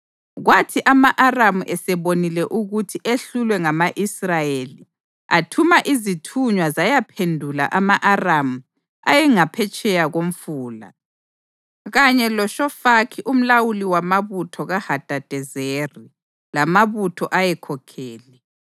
Kwathi ama-Aramu esebonile ukuthi ehlulwe ngama-Israyeli, athuma izithunywa zayaphendula ama-Aramu ayengaphetsheya koMfula, kanye loShofaki umlawuli wamabutho kaHadadezeri lamabutho ayekhokhele.